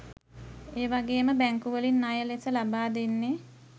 එවාගෙම බැංකු වලින් ණය ලෙස ලබාදෙන්නෙ